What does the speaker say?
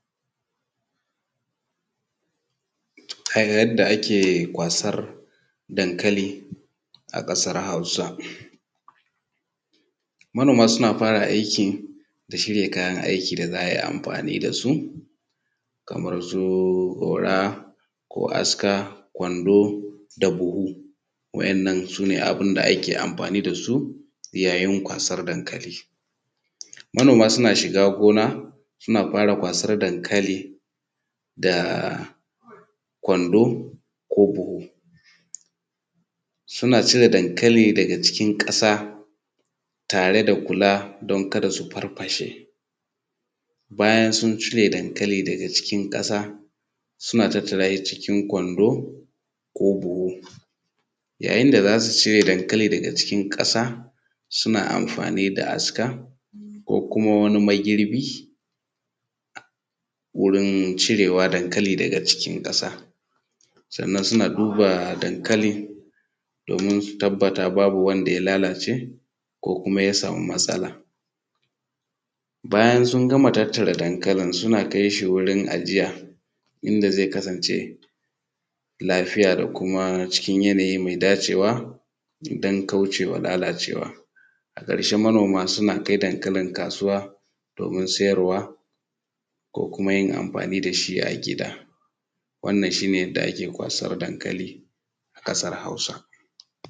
Yadda ake kwasar dankali a ƙasar Hausa, manoma suna fara aikin da shirya kayan aiki da za a yi a amfani da su kamar su goro ko aska kwando da buhu. Waɗannan su ne abun da ake amfani da su yayin kwasar dankali. Manoma suna shiga gona suna kwasar dankali da kwando ko buhu, suna cire dankali daga cikin ƙasa tare da kula din kada su farfashe. Bayan sun cire dankali daga cikin ƙasa, suna tattara shi ciki kwando ko buhu. Yayin da za su cire dankali daga cikin ƙasa suna amfani da aska ko kuma wani magirbi wurin cirewa dankali daga cikin ƙasa. Sannan suna duba dankali domin su tabbata babu wani wanda ya lalace ko kumanya sama matsala. Bayan su gama tattara dankali suna kai shi wurin ajiya, inda zai kasance lafiya da kuma cikin yanyai mai dacewa don kaucewa lalacewa. A ƙarshe manoma suna kai dankalin kasuwa domin sayarwa ko kuma amfani da shi a gida. Wannan shi ne yadda ake kwasar dankali a kasar Hausa.